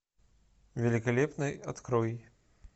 великолепный открой